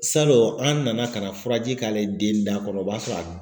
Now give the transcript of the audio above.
Salon an nana ka na furaji k'ale den da kɔnɔ o b'a sɔrɔ a